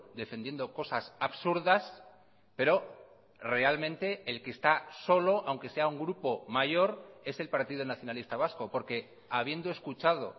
defendiendo cosas absurdas pero realmente el que está solo aunque sea un grupo mayor es el partido nacionalista vasco porque habiendo escuchado